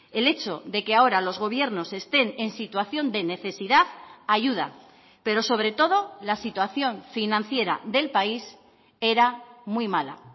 el hecho de que ahora los gobiernos estén en situación de necesidad ayuda pero sobre todo la situación financiera del país era muy mala